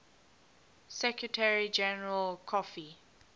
secretary general kofi